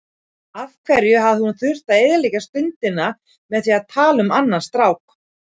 Af hverju hafði hún þurft að eyðileggja stundina með því að tala um annan strák.